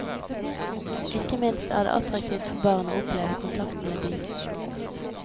Ikke minst er det attraktivt for barn å oppleve kontakten med dyr.